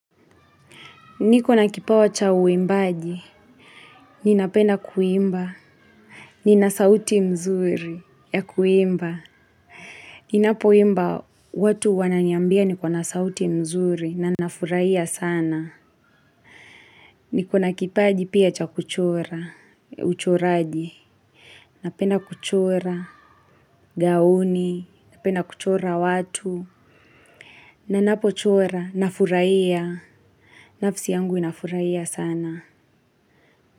Niko na kipawa cha uimbaji. Ninapenda kuimba nina sauti nzuri ya kuimba. Ninapoimba watu wananiambia niko na sauti nzuri. Na nafuraia sana. Niko na kipaji pia cha kuchora uchoraji. Napenda kuchora. Gaoni. Napena kuchora watu. Ninapochora nafurahia. Nafsi yangu inafurahia sana.